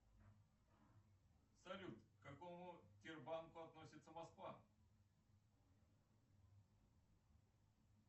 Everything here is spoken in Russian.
салют к какому тербанку относится москва